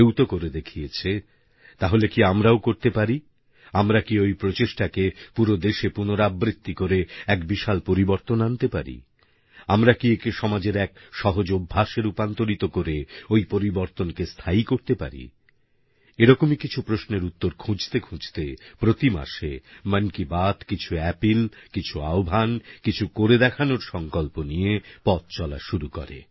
কেউ তো করে দেখিয়েছে তাহলে কি আমরাও করতে পারি আমরা কি ওই প্রচেষ্টাকে পুরো দেশে পুনরাবৃত্তি করে এক বিশাল পরিবর্তন আনতে পারি আমরা কি একে সমাজের এক সহজ অভ্যেসে রূপান্তরিত করে ওই পরিবর্তনকে স্থায়ী করতে পারি এরকমই কিছু প্রশ্নের উত্তর খুঁজতে খুঁজতে প্রতি মাসে মন কি বাত কিছু অ্যাপিল কিছু আহ্বান কিছু করে দেখানোর সংকল্প নিয়ে পথ চলা শুরু করে